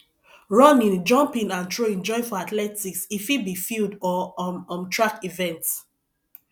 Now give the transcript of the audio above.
running jumping and throwing join for athletics e fit be field or um um track event